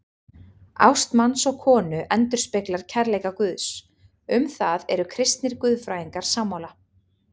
Ást manns og konu endurspeglar kærleika Guðs, um það eru kristnir guðfræðingar sammála.